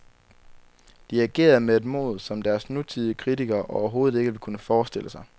De agerede med et mod, som deres nutidige kritikere overhovedet ikke vil kunne forestille sig.